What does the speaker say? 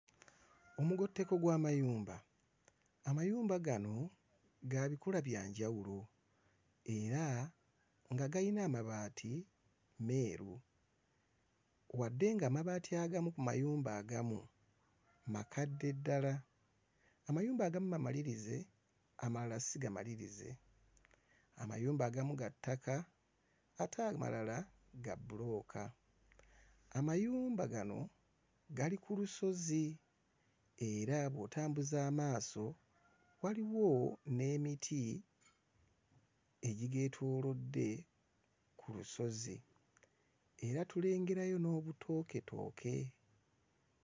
Omugotteko gw'amayumba amayumba gano ga bikula bya njawulo era nga gayina amabaati meeru wadde nga amabaati agamu ku mayumba agamu makadde ddala amayumba agamu mamalirize amalala sigamalirize amayumba agamu ga ttaka ate amalala ga bbulooka amayumba gano gali ku lusozi era bw'otambuza amaaso waliwo n'emiti egigeetoolodde ku lusozi era tulengereyo n'obutooketooke.